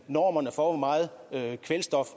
normerne for hvor meget kvælstof